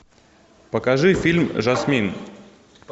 покажи фильм жасмин